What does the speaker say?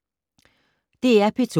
DR P2